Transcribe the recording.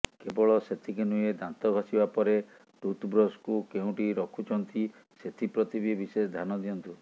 କେବଳ ସେତିକି ନୁହେଁ ଦାନ୍ତ ଘଷିବା ପରେ ଟୁଥ୍ବ୍ରସ୍କୁ କେଉଁଠି ରଖୁଛନ୍ତି ସେଥିପ୍ରତି ବି ବିଶେଷ ଧ୍ୟାନ ଦିଅନ୍ତୁ